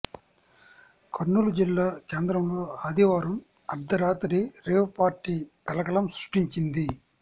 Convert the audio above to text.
కర్నూలు జిల్లా కేంద్రంలో ఆదివారం అర్ధరాత్రి రేవ్ పార్టీ కలకలం సృష్టించింది